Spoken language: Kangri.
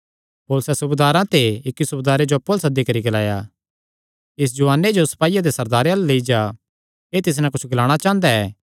पौलुसैं सूबेदारां ते इक्की सूबेदारे जो अप्पु अल्ल सद्दी करी ग्लाया इस जुआने जो सपाईयां दे सरदारे अल्ल लेई जा एह़ तिस नैं कुच्छ ग्लाणा चांह़दा ऐ